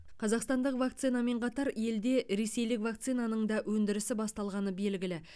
қазақстандық вакцинамен қатар елде ресейлік вакцинаның да өндірісі басталғаны белгілі